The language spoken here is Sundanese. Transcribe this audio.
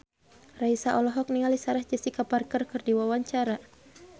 Raisa olohok ningali Sarah Jessica Parker keur diwawancara